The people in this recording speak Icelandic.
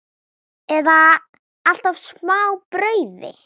Eða alltaf smá brauði?